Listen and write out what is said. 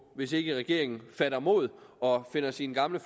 hvis ikke regeringen fatter mod og finder sine gamle